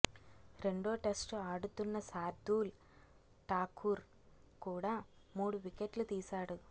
రెండో టెస్టు ఆడుతున్న శార్దూల్ ఠాకూర్ కూడా మూడు వికెట్లు తీశాడు